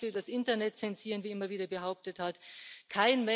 Kein Mensch will das Internet zensieren, wie immer wieder behauptet wird.